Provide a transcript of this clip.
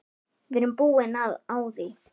Við erum búin á því.